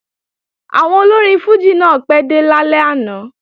Àwọn olórin fùjì náà pẹ́ dé lálẹ́ àná